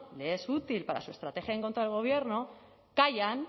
le es útil para su estrategia en contra del gobierno callan